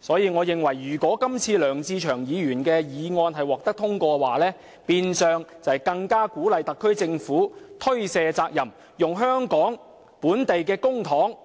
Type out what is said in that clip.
所以，我認為如果今次梁志祥議員的議案獲得通過，將變相鼓勵特區政府推卸責任，用香港的公帑